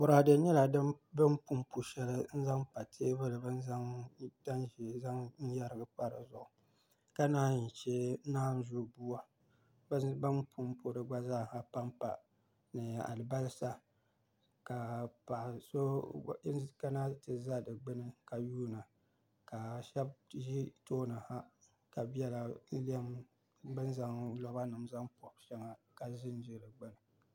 Boraadɛ nyɛla bin punpu shɛli n zaŋ pa teebuli shɛli bi ni yɛrigi tanʒiɛ pa dizuɣu ka naan yi chɛ naanzu buwa ka chɛ bin punpu di gba zaaha panpa ni alibarisa ka paɣa so kana ti ʒɛ di gbuni ka yuunda ka shab ʒi tooni ha ka biɛla lɛm ni bi ni zaŋ roba nim ponipobi shɛŋa ka ʒinʒi di gbuni